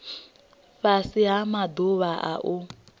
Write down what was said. fhasi ha maḓuvha a u